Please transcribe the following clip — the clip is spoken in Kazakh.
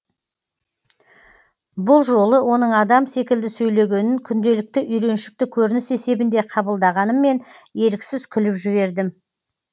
бұл жолы оның адам секілді сөйлегенін күнделікті үйреншікті көрініс есебінде қабылдағаныммен еріксіз күліп жібердім